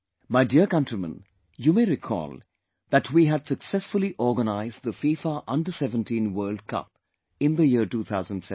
My dear countrymen, you may recall that we had successfully organized FIFA Under 17 World Cup in the year2017